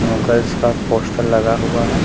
नूगल्स का पोस्टर लगा हुआ है।